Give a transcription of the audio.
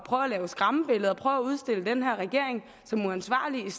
lave skræmmebilleder prøve at udstille den her regering som uansvarlig i